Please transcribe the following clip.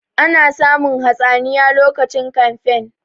Ana samun hatsaniya lokacin kamfen